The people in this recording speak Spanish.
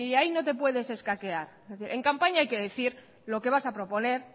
ahí no te puedes escaquear en campaña hay que decir lo que vas a proponer